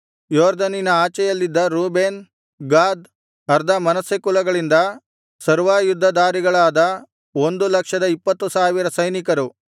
ಯೊರ್ದನಿನ ಆಚೆಯಲ್ಲಿದ್ದ Reuben Gad ಅರ್ಧಮನಸ್ಸೆ ಕುಲಗಳಿಂದ ಸರ್ವಾಯುದ್ಧಧಾರಿಗಳಾದ ಒಂದು ಲಕ್ಷದ ಇಪ್ಪತ್ತು ಸಾವಿರ ಸೈನಿಕರು